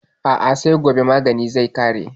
A'a sai gobe maganin zai ƙare.